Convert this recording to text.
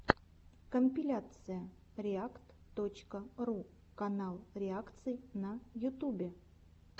компиляция реакт точка ру канал реакций на ютубе